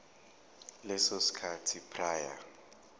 leso sikhathi prior